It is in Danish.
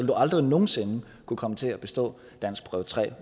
du aldrig nogen sinde kunne komme til at bestå danskprøve tre